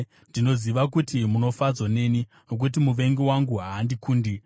Ndinoziva kuti munofadzwa neni, nokuti muvengi wangu haandikundi.